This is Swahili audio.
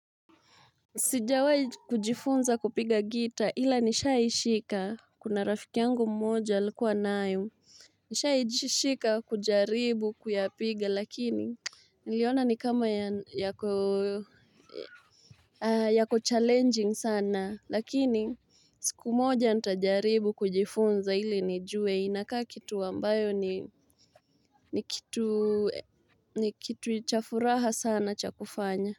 Sijawahi kujifunza kupiga gita ila nisha ishika kuna rafiki yangu mmoja alikuwa nayo nisha ishika kujaribu kuyapiga lakini niliona ni kama yako challenging sana lakini siku moja nitajaribu kujifunza ili nijue inakaa kitu ambayo ni kitu cha furaha sana cha kufanya.